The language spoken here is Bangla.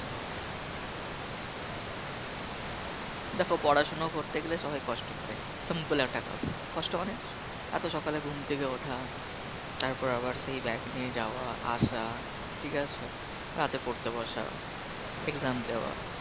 দেখো পড়াশোনা করতে গেলে সবাই কষ্ট করে Simple একটা কথা কষ্ট মানে এত সকালে ঘুম থেকে ওঠা তারপর আবার সেই Bag নিয়ে যাওয়া আসা ঠিক আছে রাতে পড়তে বসা Exam দেওয়া